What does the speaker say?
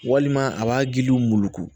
Walima a b'a gindo muluku